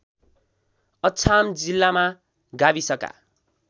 अछाम जिल्लामा गाविसका